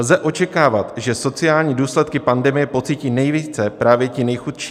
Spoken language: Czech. Lze očekávat, že sociální důsledky pandemie pocítí nejvíce právě ti nejchudší.